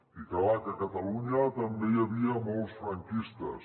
i clar que a catalunya també hi havia molts franquistes